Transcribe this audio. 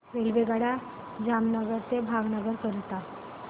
रेल्वेगाड्या जामनगर ते भावनगर करीता